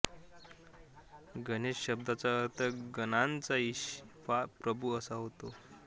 गणेश शब्दाचा अर्थ गणांचा ईश वा प्रभू असा आहे